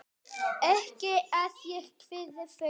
Ekki að ég kvíði fyrir.